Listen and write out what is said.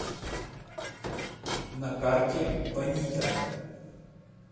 на карте бонита